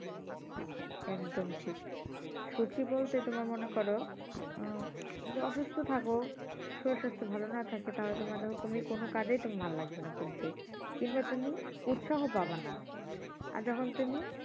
একদম ঠিক সুখী বলতে তোমার মনে করো আহ য অসুস্থ থাকো শরীর স্বাস্থ্য ভালো না থাকে তাহলে তোমার ধরো তুমি কোন কাজে তোমার ভালো লাগবে না করতে কিংবা তুমি উৎসাহ পাবানা আর যখন তুমি